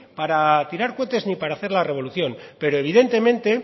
para tirar cohetes ni para hacer la revolución pero evidentemente